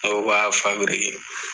Dɔw b'a fabirike